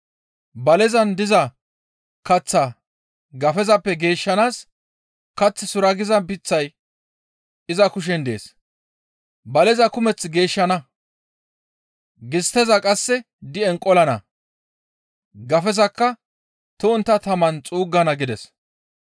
Balezan diza kaththaa gafezappe geeshshanaas kath suraggiza layday iza kushen dees. Baleza kumeth geeshshana; gistteza qasse di7en qolana; gafezakka to7ontta taman xuuggana» gides.